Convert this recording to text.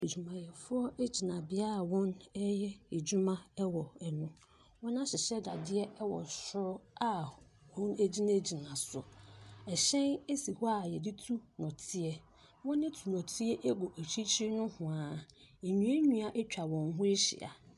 Adwumayɛfoɔ agyinabea wɔn ɛyɛ adwuma ɛwɔ ɛno, wɔma hyehyɛ dadeɛ ɛwɔ soro a wɔn no agyina gyina so. Ɛhyɛn esi hɔ a yɛde tu nnɔteɛ. Wɔn ɛtu nnɔteɛ egu akyirikyiri nohwaa. Nnua nnua atwa wɔn ho ahyia.